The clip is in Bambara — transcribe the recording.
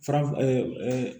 Faraf